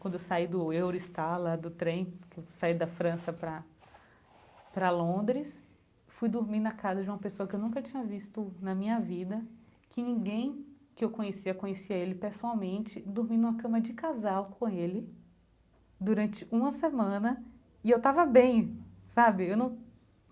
quando eu saí do Eurostar lá, do trem, que eu saí da França para para Londres, fui dormir na casa de uma pessoa que eu nunca tinha visto na minha vida, que ninguém que eu conhecia, conhecia ele pessoalmente, dormi numa cama de casal com ele, durante uma semana, e eu estava bem, sabe eu